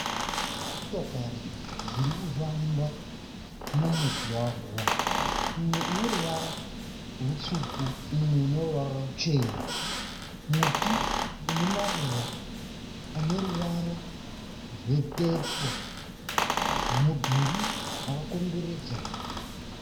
Motokari dziri kufamba mumugwagwa imwe ine ruvara rutsvuku imwe ine ruvara ruchena. Muti une maruva ane ruvara rwepepo mudhuri wakakomberedza.